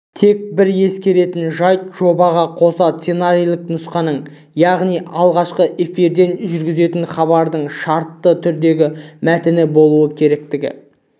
тек бір ескеретін жайт жобаға қоса сценарийлік нұсқаның яғни алғашқы эфирден жүргізетін хабардың шартты түрдегі мәтіні болу керектігі